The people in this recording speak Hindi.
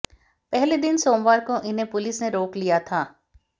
पहले दिन सोमवार को इन्हें पुलिस ने रोक लिया था